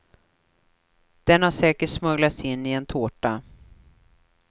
Den hade säkert smugglats in i en tårta.